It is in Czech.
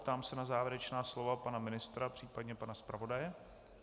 Ptám se na závěrečná slova pana ministra, případně pana zpravodaje.